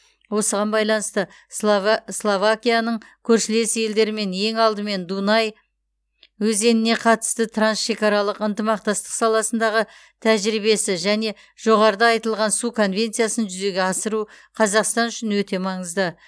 осыған байланысты слова словакияның көршілес елдермен ең алдымен дунай өзеніне қатысты трансшекаралық ынтымақтастық саласындағы тәжірибесі және жоғарыда айтылған су конвенциясын жүзеге асыру қазақстан үшін өте маңызды